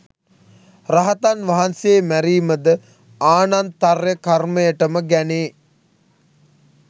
රහතන් වහන්සේ මැරීමද ආනන්තර්ය කර්මයට ම ගැනේ.